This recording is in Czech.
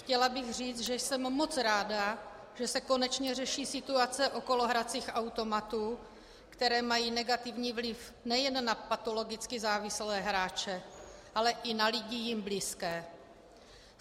Chtěla bych říct, že jsem moc ráda, že se konečně řeší situace okolo hracích automatů, které mají negativní vliv nejen na patologicky závislé hráče, ale i na lidi jim blízké.